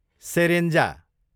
सेरेन्जा